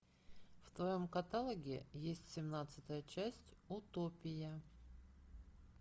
в твоем каталоге есть семнадцатая часть утопия